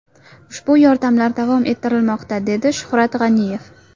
Ushbu yordamlar davom ettirilmoqda”, dedi Shuhrat G‘aniyev.